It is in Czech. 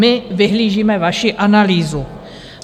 My vyhlížíme vaši analýzu.